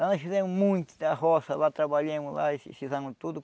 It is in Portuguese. Lá nós fizemos muita roça, lá trabalhamos lá e fizemos tudo.